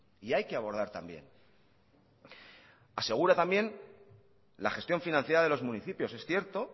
y hay que abordar también asegura también la gestión financiera de los municipios es cierto